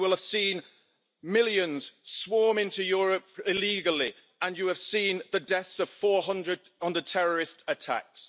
You will have seen millions swarm into Europe illegally and you have seen the deaths of 400 in the terrorist attacks.